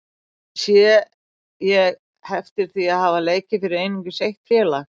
Sé ég heftir því að hafa leikið fyrir einungis eitt félag?